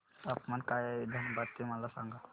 तापमान काय आहे धनबाद चे मला सांगा